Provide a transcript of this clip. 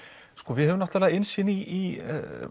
við höfum innsýn í